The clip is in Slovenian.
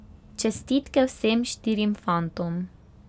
Čestitke vsem štirim fantom.